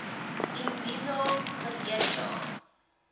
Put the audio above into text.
imbizo verlede jaar